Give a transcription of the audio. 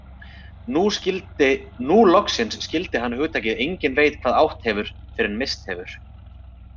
Nú loksins skildi hann hugtakið enginn veit hvað átt hefur fyrr en misst hefur.